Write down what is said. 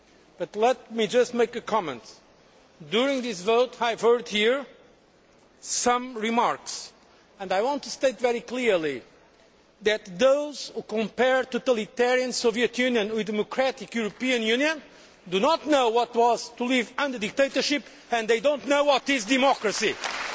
But let me just make a comment. During this vote, I have heard here some remarks and I want to state very clearly that those who compare totalitarian Soviet Union with the European Union do not know what it was to live under dictatorship and they do not know what democracy is.